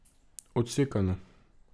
Odsekano.